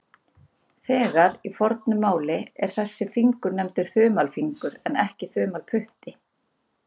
Þegar í fornu máli er þessi fingur nefndur þumalfingur en ekki þumalputti.